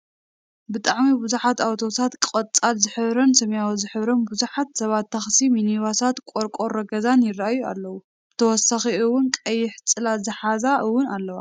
ብጣዕሚብዙሓትን ኣተውሳትን ቀፃል ዝሕብረንን ሰማያዊ ዝሕብረንን ብዙሓት ሰባትን ታክስን ሚኒባሳትን ቆርቆሮ ገዛን ይርኣየና ኣሎ። ብተወሳኪ እውን ቀይሕ ፅላል ዝሓዛ እውን ኣለዋ።